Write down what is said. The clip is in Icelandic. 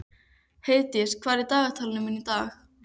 Heiðdís, hvað er í dagatalinu mínu í dag?